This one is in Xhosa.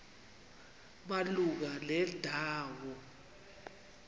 malunga nenda wo